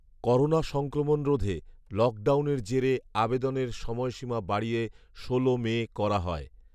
corona সংক্রমণ রোধে লকডাউনের জেরে আবেদনের সময়সীমা বাড়িয়ে ষোল মে করা হয়